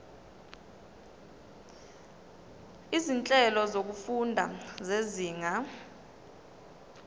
izinhlelo zokufunda zezinga